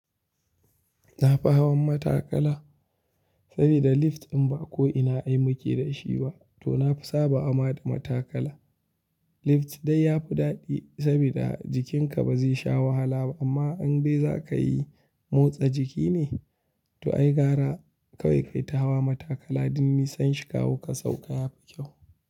Na fi hawan matakala sabida lift in ba ko ina ai muke da shi ba to na fi sabawa ma da matakala. Lift dai yafi daɗi sabida jikinka ba zai sha wahala ba amma in be za ka yi motsa jiki ne to ai gara kawai kai ta hawa matakala domin nisan shika wu ka sauka yafi kyau.